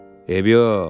Və eybi yox.